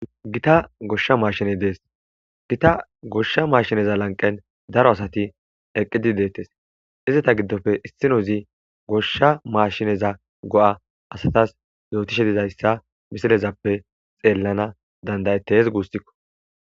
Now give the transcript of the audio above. gita goshsha maashine dees gita goshsha maashineza lanqen daro asati eqqidi deettes izata giddofe issino zi goshsha maashineza go7a asatas yootishe dizayssa misilezappe xeellana dandayettes guustikko